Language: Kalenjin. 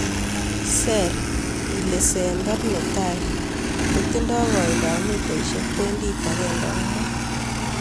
Ser ilesember netai kotinye koindab mitaisiek pointit ageng'e ak mut.